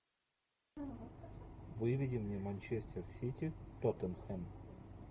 выведи мне манчестер сити тоттенхэм